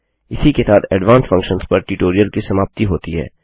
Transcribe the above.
इसी के साथ एडवांस्ड फंक्शन्स पर ट्यूटोरियल की समाप्ति होती है